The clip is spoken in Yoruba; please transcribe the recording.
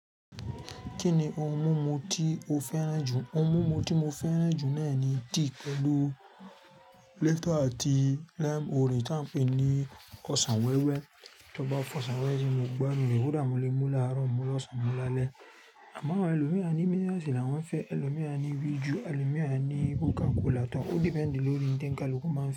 Kí ni ohun mímu tí o fẹ́ràn jù? Ohun mímu tí mo fẹ́ràn jù náà ni tea pẹ̀lú Lipton àti lime orange tá ń pè ní ọsàn wẹ́wẹ́. Tí ó bá fọ̀sàn wẹ́wẹ́ tí mo gbá ni, kódà mo lè mú láàárọ̀, mú lọ́sàn-án, mu lálẹ́. Àmọ́ àwọn ẹlòmí a ní minerals ni awọ́n fẹ́, ẹlòmí a ní Viju, àwọn ẹlòmír a ní Coca Cola tán. Ó depend lórí n tẹ́ ni kaluku máa ń fẹ́